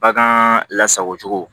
Bagan lasago cogo